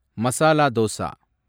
masala dosa